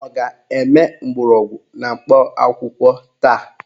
Ọ ga-eme mgbọrọgwụ na mkpa akwụkwọ taa?